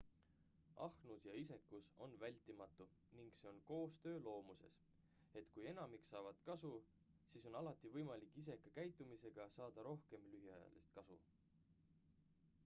ahnus ja isekus on vältimatu ning see on koostöö loomuses et kui enamik saavad kasu siis on alati võimalik iseka käitumisega saada rohkem lühiajalist kasu